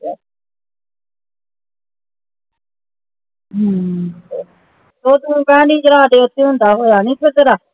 ਹਮ ਉਹ ਤੂੰ ਕਿਹਾ ਓਥੇ ਹੁੰਦਾ ਹੋਇਆ ਨੀ ਤੇਰਾ